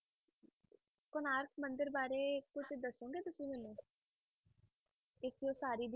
ਕੋਣਾਰਕ ਮੰਦਿਰ ਬਾਰੇ ਕੁਛ ਦੱਸੋਂਗੇ ਤੁਸੀਂ ਮੈਨੂੰ ਇਸਦੀ ਉਸਾਰੀ ਦੀ